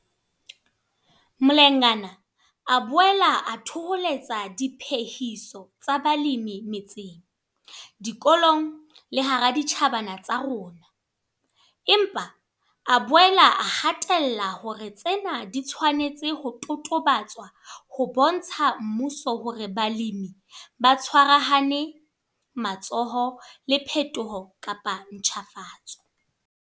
Mlengana a boela a thoholetsa diphehiso tsa balemi metseng, dikolong le hara ditjhabana tsa rona, empa a boela a hatella hore tsena di tshwanetse ho totobatswa ho bontsha mmuso hore balemi ba tshwarahane matsoho le phetoho kapa ntjhafatso.